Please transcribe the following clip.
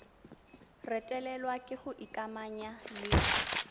retelelwa ke go ikamanya le